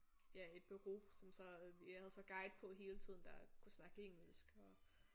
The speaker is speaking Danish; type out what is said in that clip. Ja et bureau som så øh vi havde så guide på hele tiden der kunne snakke engelsk og